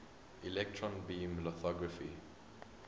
electron beam lithography